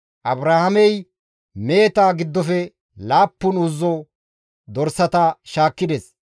Abrahaamey meheta giddofe laappun uzzi dorsata shaakkides.